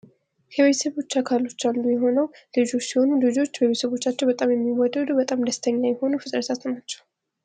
ከቤተሰቦች አካል ውስጥ አንዱ የሆኑት ልጆች ሲሆኑ ፤ ልጆች በቤተሰቦቻቸው በጣም የሚወደዱ በጣም ደስተኛ የሆኑ ፍጥረታት ናቸው።